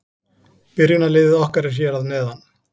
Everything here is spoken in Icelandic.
Byrjunarliðið okkar er hér að neðan.